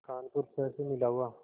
कानपुर शहर से मिला हुआ